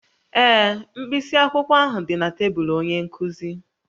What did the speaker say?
Ee, mkpịsị akwụkwọ ahụ dị na tebụl onye nkuzi